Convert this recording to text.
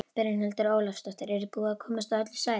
Brynhildur Ólafsdóttir: Er búið að komast á öll svæði?